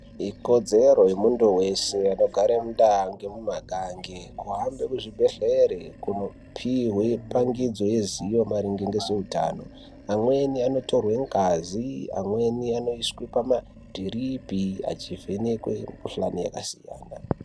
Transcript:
Ikodzero yemuntu wese anogara mundaa mumakangi kuhambe kuzvibhedhlere kunopihwe pangidzo yezivo maringe ngezveutano. Amweni anotorwe ngazi amweni anoiswe pamadhiripi achivhenekwe mukuhlani yakasiyana.